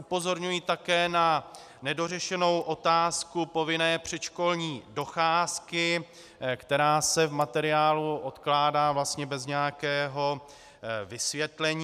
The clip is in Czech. Upozorňuji také na nedořešenou otázku povinné předškolní docházky, která se v materiálu odkládá vlastně bez nějakého vysvětlení.